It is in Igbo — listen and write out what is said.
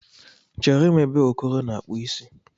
Chere m ebe Okoro na-akpụ isi